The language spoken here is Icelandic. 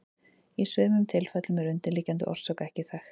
Í sumum tilfellum er undirliggjandi orsök ekki þekkt.